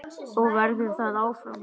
Og verður það áfram.